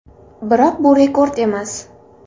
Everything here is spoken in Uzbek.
Biroq bu rekord emas.